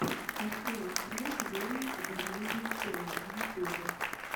открой фреш геймс зэ геймин ченел в ютубе